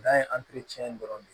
N'an ye dɔrɔn de